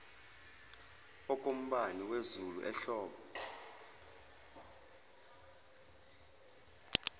okombani wezulu ehlobo